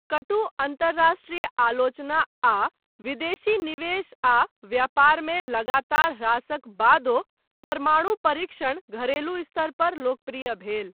कटु अन्तरराष्ट्रीय आलोचना आ विदेशी निवेश आ व्यापारमे लगातार ह्रासक बादो परमाणु परीक्षण घरेलू स्तर पर लोकप्रिय भेल।